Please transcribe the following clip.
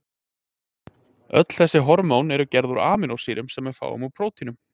Öll þessi hormón eru gerð úr amínósýrum sem við fáum úr prótínum.